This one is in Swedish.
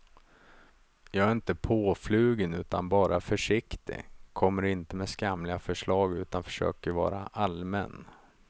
Jag är inte påflugen utan bara försiktig, kommer inte med skamliga förslag utan försöker vara allmän.